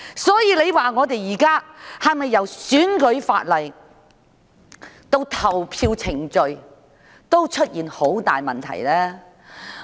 所以，現時由選舉法例到投票程序，是否出現了很大問題呢？